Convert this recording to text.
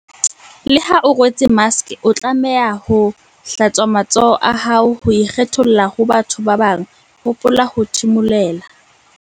Le ha o rwetse maske o tlameha ho- hlatswa matsoho a hao ho ikgetholla ho ba bathong ba bang hopola ho thimulela